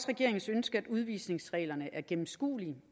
regeringens ønske at udvisningsreglerne er gennemskuelige